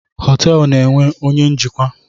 Họteelụ na-enwe onye njikwa.